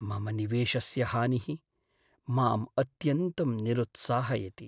मम निवेशस्य हानिः माम् अत्यन्तं निरुत्साहयति।